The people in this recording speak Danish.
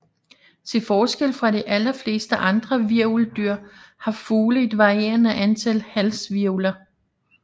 Til forskel fra de aller fleste andre hvirveldyr har fugle et varierende antal halshvirvler